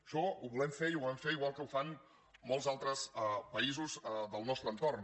això ho volem fer i ho volem fer igual que ho fan molts altres països del nostre entorn